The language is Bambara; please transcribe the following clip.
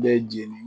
Bɛɛ jeni